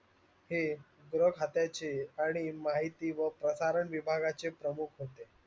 हे ग्रह खात्याचे आणि माहिती व प्रशारण विभागचे प्रमुख होते.